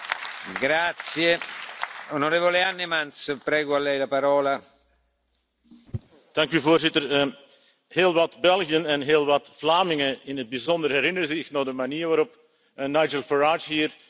Voorzitter, heel wat Belgen en heel wat Vlamingen in het bijzonder herinneren zich nog de manier waarop Nigel Farage hier de vorige Belgische voorzitter van de Raad heeft verwelkomd en de bewoordingen waarin hij dat heeft gedaan.